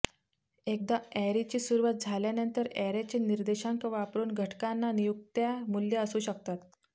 एकदा अॅरेची सुरूवात झाल्यानंतर अॅरेचे निर्देशांक वापरून घटकांना नियुक्त्या मूल्य असू शकतात